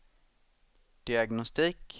diagnostik